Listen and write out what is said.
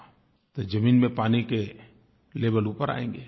तो ज़मीन में पानी के लेवेल ऊपर आयेंगे